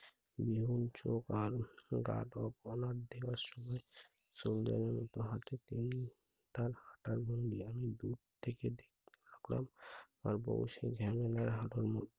বিহুন চোখ আর guard of honor দেওয়ার সময় soldier এর মত হাটতেই তার হাঁটার ভঙ্গি আমি দূর থেকে দেখতে লাগলাম। আর বোসে ঝামেলার হাঁটার~